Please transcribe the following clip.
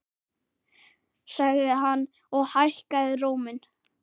sagði hann og hækkaði róminn.